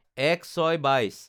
০১/০৬/২২